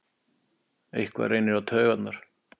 Eitthvað reynir á taugarnar